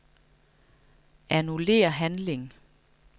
Annullér handling.